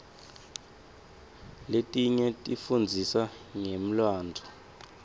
letinye tifundzisa ngemlandvo